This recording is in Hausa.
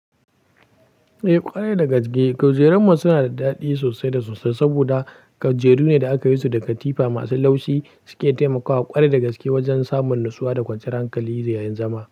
Eh ƙware da gaske. Kujerunmu su na da daɗi sosai da sosai saboda kujeru ne da aka yi su da katifa masu laushi. Suke taimakawa ƙware da gaske wajen samun natsuwa da kwanciyar hankali da yayin zama.